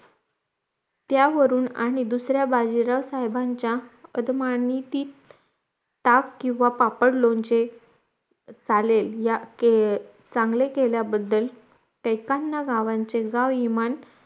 त्या वरून आणि दुसऱ्या बाजीराव साहेबांच्या कदमानी ती ताक किंवा पापड लोणचे चालेल या चांगले केल्या बद्दल त्रेपन्न गावाचे गावामान